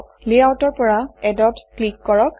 লেআউটৰ পৰা এড ত ক্লিক কৰক